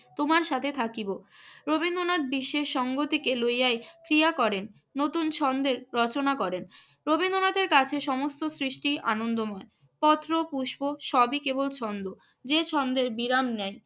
তোমার সাথে থাকিব। রবীন্দ্রনাথ বিশেষ সংহতিকে লইয়াই ক্রিয়া করেন, নতুন ছন্দের রচনা করেন। রবীন্দ্রনাথের কাছে সমস্ত সৃষ্টিই আনন্দময়। পত্র, পুষ্প সবই কেবল ছন্দ। যে ছন্দের বিরাম নেই